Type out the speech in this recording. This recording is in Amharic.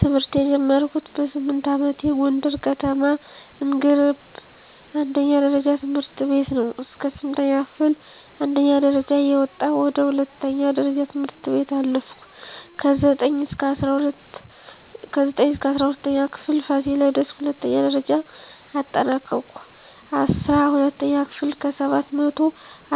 ትምህርት የጀመርኩት በስምንት አመቴ ጎንደር ከተማ አንገረብ አንደኛ ደረጃ ትምህርት ቤት ነው። እስከ ስምንተኛ ክፍል አንደኛ ደረጃ እየወጣሁ ወደ ሁለተኛ ደረጃ ትምህርት ቤት አለፍኩ። ከዘጠኝ እስከ እስራ ሁለተኛ ክፍል ፋሲለደስ ሁለተኛ ደረጃ አጠናቀኩኝ። አስራ ሁለተኛ ክፍል ከሰባት መቶው